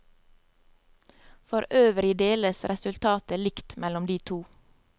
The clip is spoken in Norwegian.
For øvrig deles resultatet likt mellom de to.